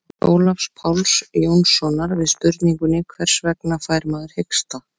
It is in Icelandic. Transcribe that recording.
í svari ólafs páls jónssonar við spurningunni hvers vegna fær maður hiksta